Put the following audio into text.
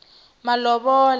malovola